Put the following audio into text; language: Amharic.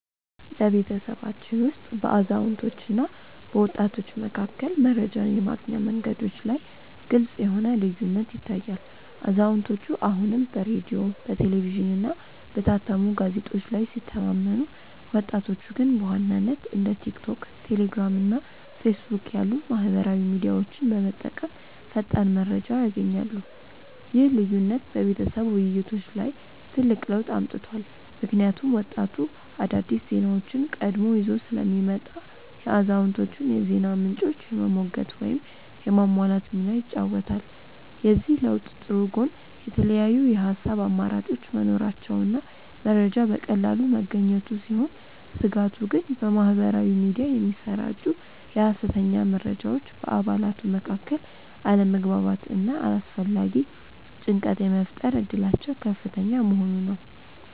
በቤተሰባችን ውስጥ በአዛውንቶችና በወጣቶች መካከል መረጃን የማግኛ መንገዶች ላይ ግልጽ የሆነ ልዩነት ይታያል፤ አዛውንቶቹ አሁንም በሬዲዮ፣ በቴሌቪዥንና በታተሙ ጋዜጦች ላይ ሲተማመኑ፣ ወጣቶቹ ግን በዋናነት እንደ ቲክቶክ፣ ቴሌግራም እና ፌስቡክ ያሉ ማኅበራዊ ሚዲያዎችን በመጠቀም ፈጣን መረጃ ያገኛሉ። ይህ ልዩነት በቤተሰብ ውይይቶች ላይ ትልቅ ለውጥ አምጥቷል፤ ምክንያቱም ወጣቱ አዳዲስ ዜናዎችን ቀድሞ ይዞ ስለሚመጣ የአዛውንቶቹን የዜና ምንጮች የመሞገት ወይም የማሟላት ሚና ይጫወታል። የዚህ ለውጥ ጥሩ ጎን የተለያዩ የሐሳብ አማራጮች መኖራቸውና መረጃ በቀላሉ መገኘቱ ሲሆን፣ ስጋቱ ግን በማኅበራዊ ሚዲያ የሚሰራጩ የሐሰተኛ መረጃዎች በአባላቱ መካከል አለመግባባትና አላስፈላጊ ጭንቀት የመፍጠር እድላቸው ከፍተኛ መሆኑ ነው።